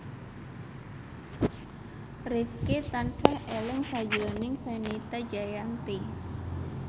Rifqi tansah eling sakjroning Fenita Jayanti